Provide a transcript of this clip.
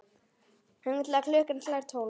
Þangað til klukkan slær tólf.